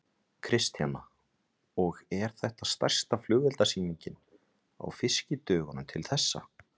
Kristjana: Og er þetta stærsta flugeldasýningin á Fiskidögunum til þessa?